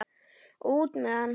Og út með hann!